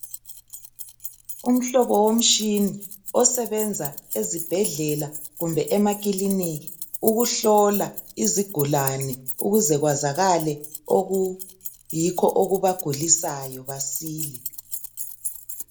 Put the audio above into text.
umhlobo womtshini osebenza ezibhedlela kumbe emakiliniki ukuhlola izigulaze ukuze kwazakale okuyikho okubagulisayo basile